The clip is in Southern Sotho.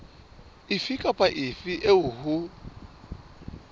efe kapa efe eo ho